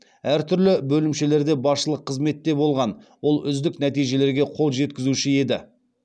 әртүрлі бөлімшелерде басшылық қызметте болған ол үздік нәтижелерге қол жеткізуші еді